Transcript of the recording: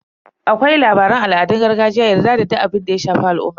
Akwai labaran al'adun gargajiya, yarda da duk abinda ya shafi al'umma.